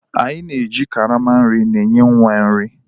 A na-eji karama nri enye nwa nri.